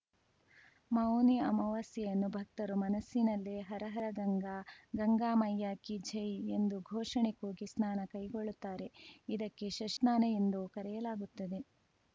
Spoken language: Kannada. ಮೌನಿ ಅಮಾವಾಸ್ಯೆಯನ್ನು ಭಕ್ತರು ಮನಸ್ಸಿನಲ್ಲೇ ಹರ ಹರ ಗಂಗಾ ಗಂಗಾ ಮಯ್ಯಾ ಕಿ ಜೈ ಎಂದು ಘೋಷಣೆ ಕೂಗಿ ಸ್ನಾನ ಕೈಗೊಳ್ಳುತ್ತಾರೆ ಇದಕ್ಕೆ ಶಶ್ನಾನೆ ಎಂದೂ ಕರೆಯಲಾಗುತ್ತದೆ